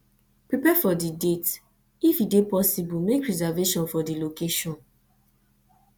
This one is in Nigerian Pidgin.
prepare for di date if e dey possible make reservation for di location